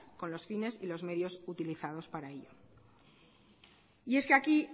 con los fines y los medios que utilizados para ello y es que aquí